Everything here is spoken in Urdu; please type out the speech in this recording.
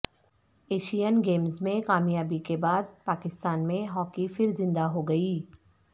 ایشین گیمز میں کامیابی کے بعد پاکستان میں ہاکی پھر زندہ ہو گئی